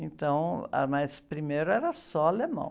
Então, ah, mas primeiro era só alemão.